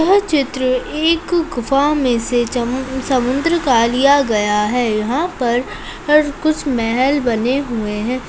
यह चित्र एक गुफा में से समुन्द्र का लिया गया है यहाँ पर कुछ महल बने हुए है।